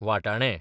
वाटाणे